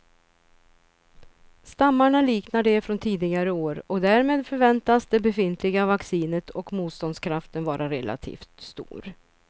Stammarna liknar de från tidigare år och därmed förväntas det befintliga vaccinet och motståndskraften vara relativt stor.